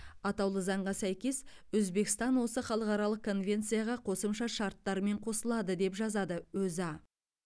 атаулы заңға сәйкес өзбекстан осы халықаралық конвенцияға қосымша шарттармен қосылады деп жазады өза